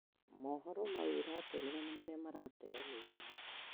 mohoro maũ uratũmĩra nĩ maria maratenyanĩirio